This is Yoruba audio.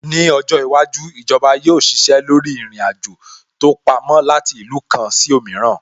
Ní ọjọ́ iwájú, Ìjọba yóò ṣiṣẹ́ lórí ìrìn-àjò tó pamó láti ìlú kan sí òmíràn